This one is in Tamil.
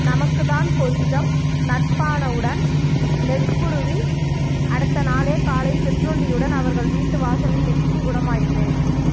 நமக்குத்தான் கொஞ்சம் நட்பானவுடன் நெக்குருகி அடுத்த நாளே காலை சிற்றுண்டியுடன் அவர்கள் வீட்டு வாசலில் நிற்கும் குணமாயிற்றே